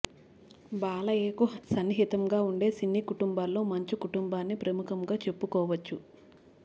బాలయ్యకు సన్నిహితంగా ఉండే సినీ కుటుంబాల్లో మంచు కుటుంబాన్ని ప్రముఖంగా చెప్పుకోవచ్చు